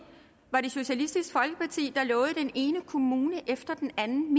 var det socialistisk folkeparti der lovede den ene kommune efter den anden